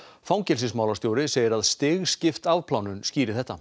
fangelsismálastjóri segir að stigskipt afplánun skýri þetta